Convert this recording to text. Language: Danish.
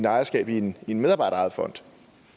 ejerskab i en medarbejderejet fond